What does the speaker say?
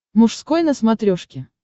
мужской на смотрешке